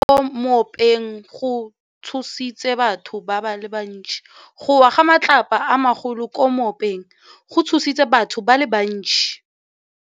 Go wa ga matlapa a magolo ko moepong go tshositse batho ba le bantsi.